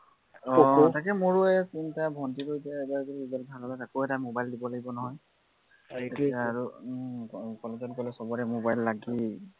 আহ আহ তাকে মইও এৰ চিন্তা, ভন্টীকো এতিয়া এইবাৰ বোলো এৰ result ভাল হলে তাকো এটা mobile দিব লাগিব নহয় এইপিনে আৰু উম college ত গলে সৱৰে mobile লাগেই